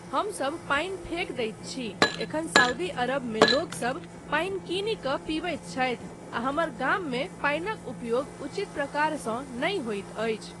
हमसब पानि फेकि दैत छी, एखन सऊदी अरबमे लोकसब पानि किनी कऽ पिबैत छथि आ हमर गाममे पानिक उपयोग उचित प्रकारसँ नहि होइत अछि।